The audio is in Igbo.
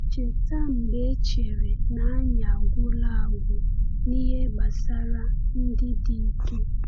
“Cheta mgbe e chere na anyị agwụla agwụ n’ihe gbasara ndị dike?”